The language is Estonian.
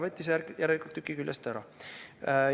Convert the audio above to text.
Võttis järelikult tüki küljest ära.